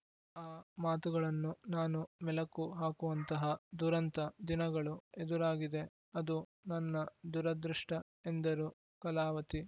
ಆ ಮಾತುಗಳನ್ನು ನಾನು ಮೆಲುಕು ಹಾಕುವಂತಹ ದುರಂತ ದಿನಗಳು ಎದುರಾಗಿದೆ ಅದು ನನ್ನ ದುರದೃಷ್ಟ ಎಂದರು ಕಲಾವತಿ